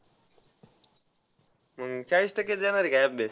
मग चाळीस टक्केच येणार आहे का अभ्यास.